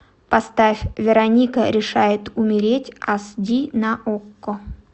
поставь вероника решает умереть аш ди на окко